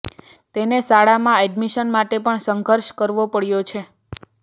તેને શાળામાં એડમિશન માટે પણ સંઘર્ષ કરવો પડ્યો છે